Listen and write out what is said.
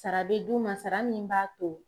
Sara bɛ d'u ma sara min b'a to